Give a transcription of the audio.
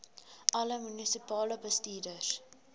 alle munisipale bestuurders